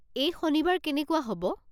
এই শনিবাৰ কেনেকুৱা হ'ব?